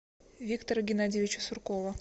виктора геннадьевича суркова